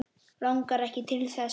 Langar ekki til þess.